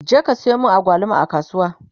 je ka Sayo min agwaluma a kasuwa!